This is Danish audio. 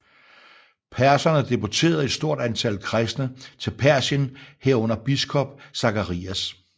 Perserne deporterede et stort antal kristne til Persien herunder biskop Zacharias